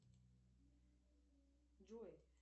джой